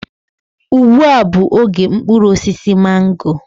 Igbu a bụ oge mkpụrụ osisi mango